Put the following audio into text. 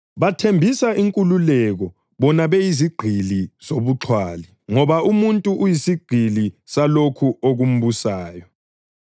Babathembisa inkululeko, bona beyizigqili zobuxhwali, ngoba umuntu uyisigqili salokho okumbusayo.